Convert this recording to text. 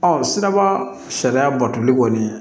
siraba sariya batoli kɔni